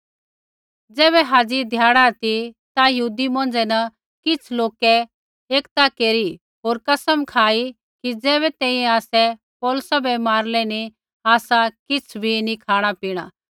ज़ैबै हाज़ी ध्याड़ा ती ता यहूदी मौंझ़ै न किछ़ लोकै एकता केरी होर कसम खाई कि ज़ैबै तैंईंयैं आसै पौलुसा बै मारलै नी आसा किछ़ बी नी खाँणापीणा